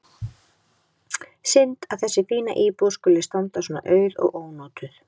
Synd að þessi fína íbúð skuli standa svona auð og ónotuð.